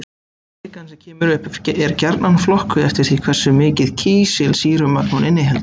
Kvikan sem kemur upp er gjarnan flokkuð eftir því hversu mikið kísilsýrumagn hún inniheldur.